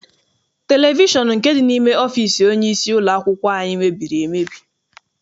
Televishọn nke dị n'ime ọfịịsi onyeisi ụlọakwụkwọ anyị mebiri emebi.